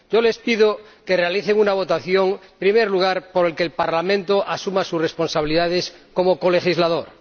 Les pido que realicen una votación, en primer lugar, por la que el Parlamento asuma sus responsabilidades como colegislador.